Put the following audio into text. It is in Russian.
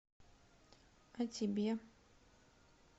а тебе